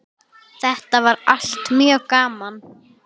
Þetta var allt mjög gaman.